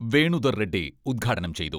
വേണുദർ റെഡ്ഡി ഉദ്ഘാടനം ചെയ്തു.